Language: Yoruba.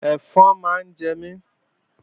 Ẹ̀fọn ń jẹ mí